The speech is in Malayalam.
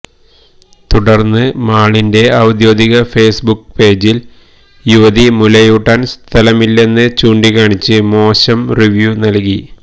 തുടര്ന്ന് മാളിന്റെ ഔദ്യോഗിക ഫേസ്ബുക്ക് പേജില് യുവതി മുലയൂട്ടാന് സ്ഥലമില്ലെന്ന് ചൂണ്ടിക്കാണിച്ച് മോശം റിവ്യൂ നല്കി